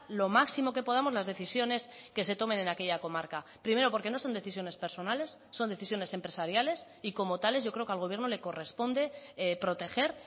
lo máximo que podamos las decisiones que se tomen en aquella comarca primero porque no son decisiones personales son decisiones empresariales y como tales yo creo que al gobierno le corresponde proteger